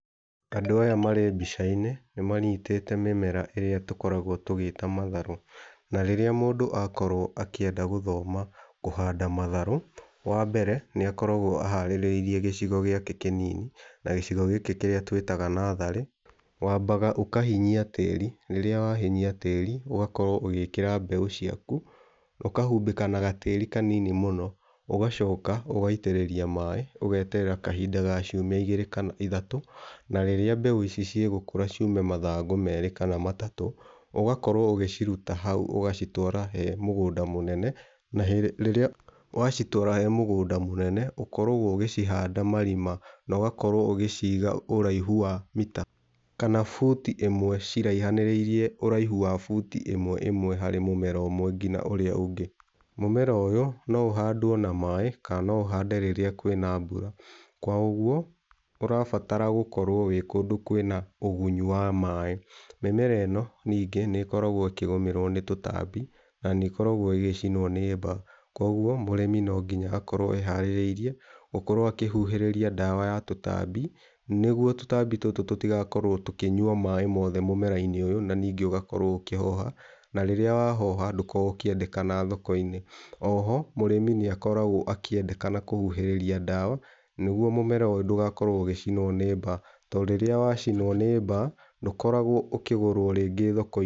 Andũ aya marĩ mbica-inĩ nĩmanyitĩte mĩmera ĩrĩa tũkoragwo tũgĩta matharũ, na rĩrĩa mũndũ akorwo akĩenda gũthoma kũhanda matharũ, wambere nĩakoragwo aharĩrĩirie gĩcigo gĩake kĩnini na gĩcigo gĩkĩ kĩrĩa twĩtaga natharĩ, wambaga ũkahinyia tĩri, rĩrĩa wahinyia tĩri ũgakorwo ũgĩkĩra mbegũ ciaku ũkahumbĩka na gatĩri kanini mũno, ũgacoka ũgaitĩrĩria maĩ, ũgeterera kahinda ga ciumia ĩgĩrĩ kana ithatũ, na rĩrĩa mbegũ ici cigũkũra ciume mathangũ merĩ kana matatũ ũgakorwo ũgĩciruta hau, ũgacitwara he mũgũnda mũnene, na rĩrĩa wacitwara he mũgũnda mũnene ũkoragwo ũgĩhanda marima na ũgakorwo ũgĩciiga ũraihu wa mita, kana buti ĩmwe ciraihanĩrĩirie ũraihu wa buti ĩmwe ĩmwe harĩ mũmera ũmwe nginya ũrĩa ũngĩ. Mũmera ũyũ no ũhandwo na maĩ kana no ũhandwo rĩrĩa kwĩna mbura, kwa ũguo ũrabatara gũkorwo wĩ kũndũ kwĩna ũgunyu wa maĩ. Mĩmera ĩno ningĩ nĩ ĩkoragwo ĩkĩgũmĩrwo nĩ tũtambi na nĩ ĩkoragwo ĩgĩcinwo nĩ mbaa, kwa ũguo mũrĩmi no nginya akorwo eharĩrĩirie gũkorwo akĩhuhĩrĩria ndawa ya tũtambi, nĩgũo tũtambi tũtũ tũtigakorwo tũkinyua maĩ mothe mũmera-inĩ ũyũ na ningĩ ũgakorwo ũkĩhoha, na rĩrĩa wahoha ndũkoragwo ũkĩendekana thoko-inĩ. O ho mũrĩmĩ nĩakoragwo akĩendekana kũhuhĩrĩria ndawa nĩguo mũmera ũyũ ndũgakorwo ũgĩcinwo nĩ mba, to rĩrĩa wacinwo nĩ mbaa ndũkoragwo ũkĩgũrwo rĩngĩ thoko-inĩ.